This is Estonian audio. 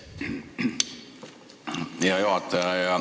Hea juhataja!